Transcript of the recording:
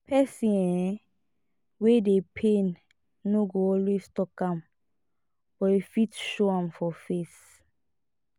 person um wey dey pain no go always talk am but e fit show for im face